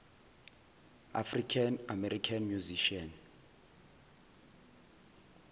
african american musicians